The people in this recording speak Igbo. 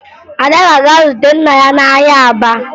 Ada ga-aga zute nna ya n'ahịa Aba